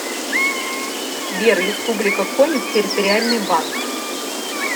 сбер республика коми территориальный банк